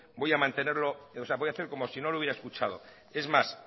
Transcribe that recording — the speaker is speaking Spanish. voy a hacer como si no lo hubiera escuchado es más